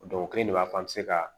o kelen de b'a fɔ an bɛ se ka